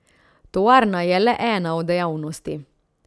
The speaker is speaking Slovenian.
Tovarna je le ena od dejavnosti.